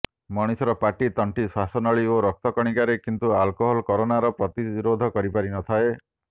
ମଣିଷର ପାଟି ତଣ୍ଟି ଶ୍ୱାସନଳୀ ଓ ରକ୍ତକଣିକାରେ କିନ୍ତୁ ଆଲକୋହଲ କରୋନାର ପ୍ରତିରୋଧ କରିପାରି ନଥାଏ